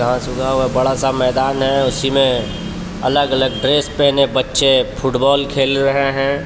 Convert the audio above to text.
घास उगा हुआ बड़ा सा मैदान है उसी में अलग अलग ड्रेस पहने बच्चे फुटबॉल खेल रहे हैं.